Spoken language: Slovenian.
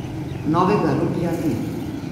Novega Ruglja ni.